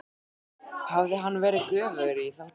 Hafði hann verið göfugri í þá daga?